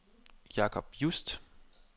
Jacob Just